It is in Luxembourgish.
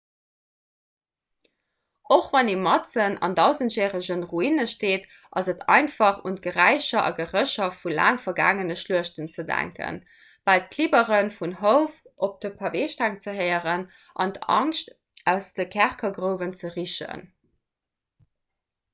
och wann ee matzen an dausendjärege ruine steet ass et einfach un d'geräicher a gerécher vu laang vergaangene schluechten ze denken bal d'klibbere vun houf op de paveesteng ze héieren an d'angscht aus de kerkergrouwen ze richen